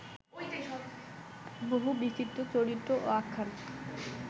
বহুবিচিত্র চরিত্র ও আখ্যান